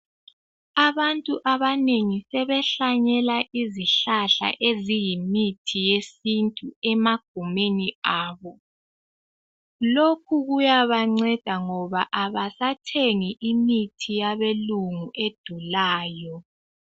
Abantu abanengi sebehlanyela izihlahla eziyimithi yesintu emagumeni abo. Lokhu kuyabanceda ngoba abasathengi imithi yabelungu edulayo.